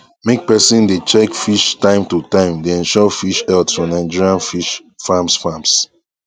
make person dey check fish time to time dey ensure fish health for nigerian fish farms farms